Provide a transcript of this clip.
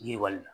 Yiriwali la